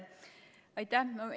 Aitäh!